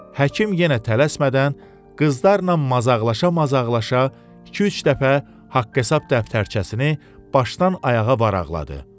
Həkim yenə tələsmədən qızlarla mazaqlaşa-mazaqlaşa iki-üç dəfə haqq-hesab dəftərçəsini başdan ayağa varaqladı.